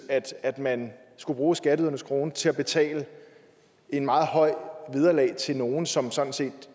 at man skulle bruge skatteydernes kroner til at betale et meget højt vederlag til nogle som sådan set